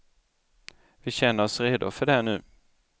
Vi känner oss redo för det nu.